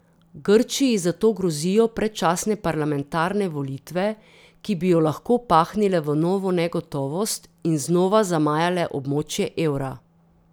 Grčiji zato grozijo predčasne parlamentarne volitve, ki bi jo lahko pahnile v novo negotovost in znova zamajale območje evra.